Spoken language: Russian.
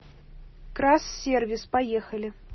крассервис поехали